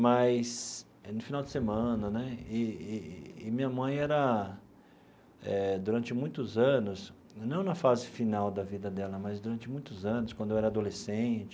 Mas no final de semana né e e, e minha mãe era eh, durante muitos anos, não na fase final da vida dela, mas durante muitos anos, quando eu era adolescente,